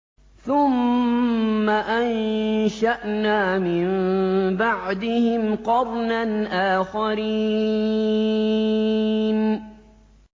ثُمَّ أَنشَأْنَا مِن بَعْدِهِمْ قَرْنًا آخَرِينَ